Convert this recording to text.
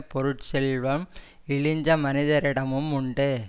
பொருட்செல்வம் இழிந்த மனிதரிடமும் உண்டு